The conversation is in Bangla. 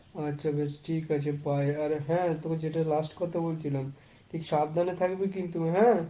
আচ্ছা বেশ, ঠিক আছে bye। আর হ্যাঁ, তোকে যেটা লাস্ট কথা বলছিলাম। তুই সাবধানে থাকবি কিন্তু হ্যাঁ?